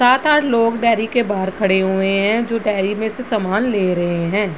सात-आठ लोग डेयरी के बाहर खड़े हुए है जो डेयरी में से सामान ले रहे है।